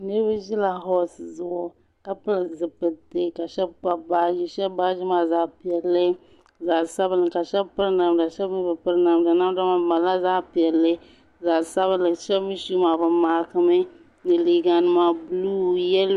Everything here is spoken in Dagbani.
niriba ʒɛla wahi zuɣ' ka bili zipilitɛ ka shɛba kpabi baji ka shɛŋa nyɛ zaɣ'piɛli zaɣ' sabili ka shɛba pɛri namda ka shɛba mi be pɛri namda maa mali zaɣ' piɛlli zaɣ' sabilinli kpɛ maa bi maagi mi liga nima zaɣ'nuɣ'su